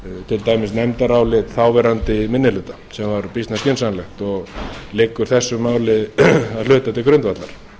til dæmis nefndarálit þáverandi minni hluta sem var býsna skynsamlegt og liggur þessu máli að hluta til grundvallar